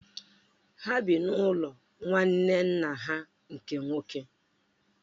Ha bi n’ụlọ nwanne nna ha nke nwoke.